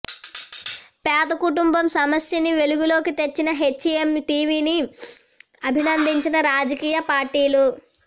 పేద కుటుంబం సమస్యని వెలుగు లోకి తెచ్చిన హెచ్ ఎం టీవీ ని అభినందించిన రాజకీయ పార్టీలు